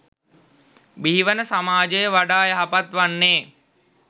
බිහිවන සමාජය වඩා යහපත් වන්නේ.